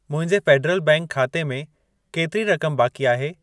मुंहिंजे Federal Bank खाते में केतिरी रक़म बाक़ी आहे?